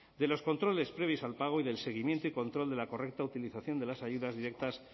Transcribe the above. de los controles previos al pago y del seguimiento y control de la correcta utilización de las ayudas directas